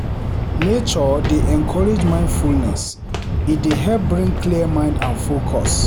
Nature dey encourage mindfulness, e dey help bring clear mind and focus.